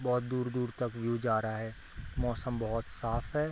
बहुत दूर-दूर तक व्यू जा रहा है मौसम बहुत साफ है।